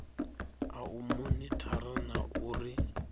a u monithara na uri